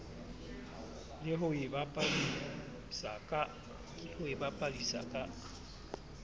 le ho e bapadisa ka